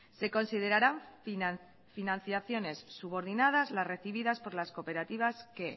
se considerará financiaciones subordinadas las recibidas por las cooperativas que